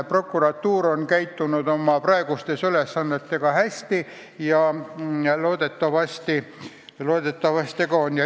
Prokuratuur on oma praeguste ülesannetega hästi hakkama saanud ja loodetavasti saab hakkama ka sellega.